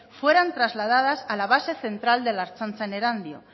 fueran trasladadas a la base central de la ertzaintza en erandio